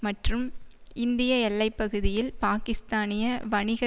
மற்றும் இந்திய எல்லை பகுதியில் பாக்கிஸ்தானிய வணிக